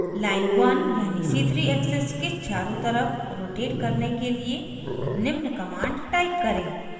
line 1 यानी c3 axis के चारों तरफ rotate करने के लिए निम्न command type करें